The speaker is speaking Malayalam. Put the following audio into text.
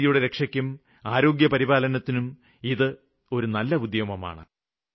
പരിസ്ഥിതിയുടെ രക്ഷയ്ക്കും ആരോഗ്യപരിപാലനത്തിനും ഇത് ഒരു നല്ല ഉദ്യമമാണ്